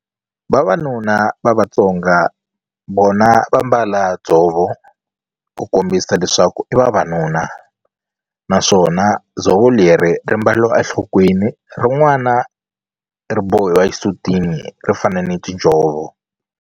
Vavanuna va Vatsonga vona va mbala dzovo ku kombisa leswaku i vavanuna naswona dzovo leri ri mbariwa enhlokweni rin'wana ri bohiwa exisutini ro fana ni tinjhovo.